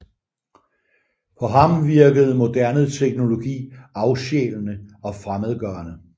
På ham virkede moderne teknologi afsjælende og fremmedgørende